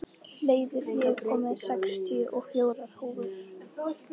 Hleiður, ég kom með sextíu og fjórar húfur!